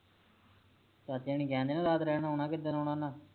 ਚਾਚੇ ਹੋਣੀ ਕਹਿਣਦੇ ਨਾ ਰਾਤ ਰਹਿਣ ਆਉਣਾ ਕਿੱਦਣ ਆਉਣਾ ਉਨ੍ਹਾਂ